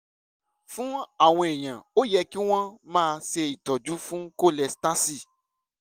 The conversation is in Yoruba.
fún àwọn èèyàn ó yẹ kí wọ́n máa ṣe ìtọ́jú fún kólestásì